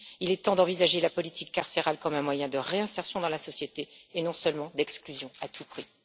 Il est temps d'envisager la politique carcérale comme un moyen de réinsertion dans la société et non seulement d'exclusion à tout prix.